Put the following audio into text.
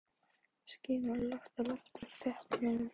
Skýin voru lágt á lofti og þéttriðin.